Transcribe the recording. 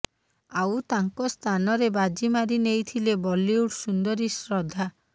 ଆଉ ତାଙ୍କ ସ୍ଥାନରେ ବାଜି ମାରି ନେଇଥିଲେ ବଲିଉଡ ସୁନ୍ଦରୀ ଶ୍ରଦ୍ଧା